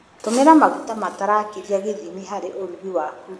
Tũmĩra maguta matarakĩria gĩthimi harĩ ũrugi waku.